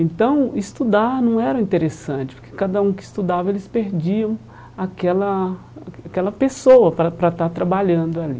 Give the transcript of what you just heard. Então estudar não era interessante, porque cada um que estudava, eles perdiam aquela a aquela pessoa para estar para estar trabalhando ali.